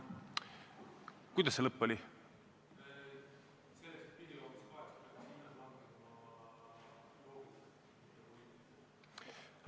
Kuidas see lõpp oli?